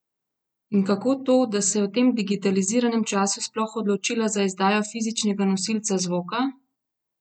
In kako to, da se je v tem digitaliziranem času sploh odločila za izdajo fizičnega nosilca zvoka?